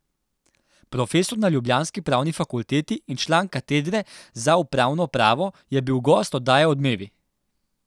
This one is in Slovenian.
Profesor na ljubljanski Pravni fakulteti in član katedre za upravno pravo je bil gost oddaje Odmevi.